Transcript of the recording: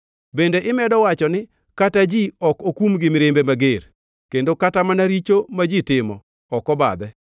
Bende imedo wacho ni kata ji ok okum gi mirimbe mager kendo kata mana richo ma ji timo ok obadhe.